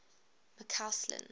mccausland